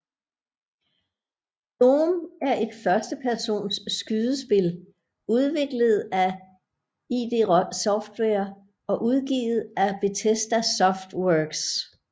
Doom er et førstepersons skydespil udviklet af id Software og udgivet af Bethesda Softworks